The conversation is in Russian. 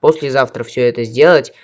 послезавтра всё это сделать